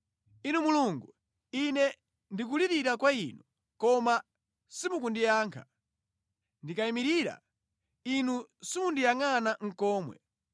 “Inu Mulungu, ine ndikulirira kwa Inu, koma simukundiyankha; ndikayimirira, Inu simundiyangʼana nʼkomwe.